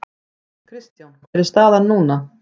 Kristján hver er staðan núna?